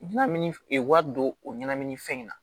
I bina min wari don o ɲɛnamini fɛn in na